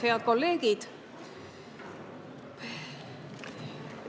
Head kolleegid!